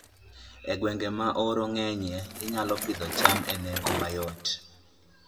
E gwenge ma oro ng'enyie, inyalo Pidho cham e nengo mayot